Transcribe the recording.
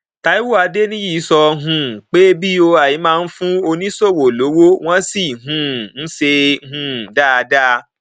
taiwo adeniyi sọ um pé boi máa ń fún oníṣòwò lówó wọn sì um ń ṣe é um dáadáa